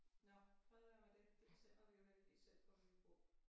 Nåh fred være med det det bestemmer vi jo heldigvis selv hvor vi vil bo